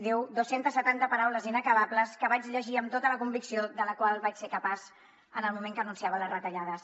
diu duescentes setanta paraules inacabables que vaig llegir amb tota la convicció de la qual vaig ser capaç en el moment que anunciava les retallades